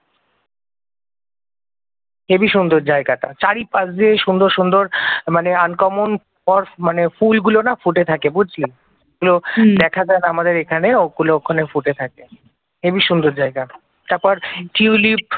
heavy সুন্দর জায়গাটা চারি পাশ দিয়ে সুন্দর সুন্দর, মানে আনকমন স্পট মানে ফুলগুলো না ফুটে থাকে বুঝলি যেগুলো দেখা যায় না আমাদের এখানে ওগুলো ওখানে ফুটে থাকে, হেবি সুন্দর জায়গা তারপর টিউলিপ